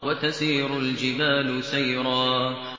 وَتَسِيرُ الْجِبَالُ سَيْرًا